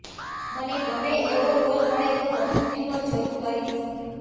મને ગમે એવો રોલ મળે તો વધુ ફિલ્મો જરૂર કરીશ